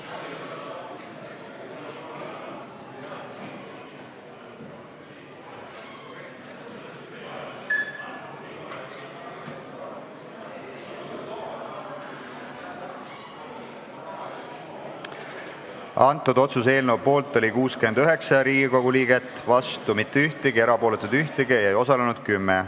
Hääletustulemused Otsuse eelnõu poolt oli 69 Riigikogu liiget, vastu ei olnud mitte keegi, ka erapooletuid ei olnud mitte ühtegi, ei osalenud 10.